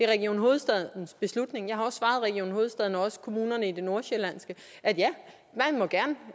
region hovedstadens beslutning jeg har også svaret region hovedstaden og også kommunerne i det nordsjællandske